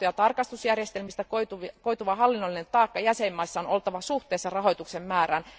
Hallinto ja tarkastusjärjestelmistä koituva hallinnollinen taakka jäsenvaltioissa on oltava suhteessa rahoituksen määrään.